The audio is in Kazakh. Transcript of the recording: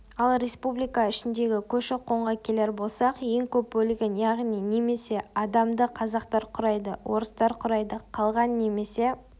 ал республика ішіндегі көші-қонға келер болсақ ең көп бөлігін яғни немесе адамды қазақтар құрайды орыстар құрайды қалған немесе